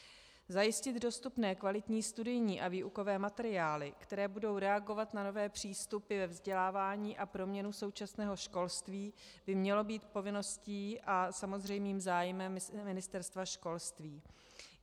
Zajistit dostupné kvalitní studijní a výukové materiály, které budou reagovat na nové přístupy ve vzdělávání a proměnu současného školství, by mělo být povinností a samozřejmým zájmem Ministerstva školství.